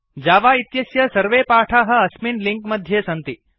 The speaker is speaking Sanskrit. जावा इत्यस्य सर्वे पाठाः अस्मिन् लिंक् मध्ये सन्ति